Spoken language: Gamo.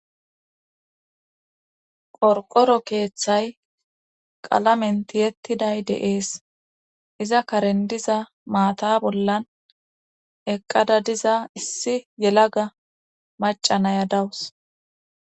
qorqoro keeththay qalamen tiyettiday de'ees iza karendiza maata bollan eqqada diza issi yelaga macanaya dawus